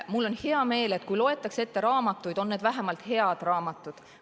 Mul on hea meel, et kui loetakse ette raamatuid, siis on need vähemalt head raamatud.